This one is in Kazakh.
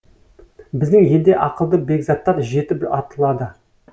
біздің елде ақылды бекзаттар жетіп атылады